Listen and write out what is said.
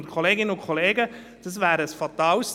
Wir beginnen morgen früh um 9.04 Uhr.